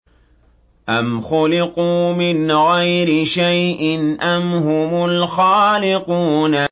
أَمْ خُلِقُوا مِنْ غَيْرِ شَيْءٍ أَمْ هُمُ الْخَالِقُونَ